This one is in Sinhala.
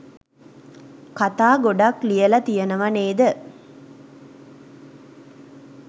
කතා ගොඩක් ලියල තියනව නේද?